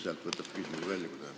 Sealt võtad küsimuse välja, kui tahad.